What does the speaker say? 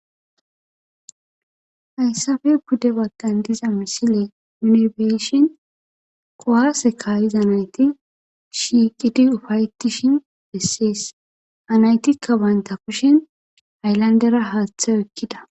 Hayssappe pude baggan diza missiley nu beishin kuwasse kaiza naytti shiqqidi ufaettishin besess ha naytikka bantta kushshen haylandera haththe oykida.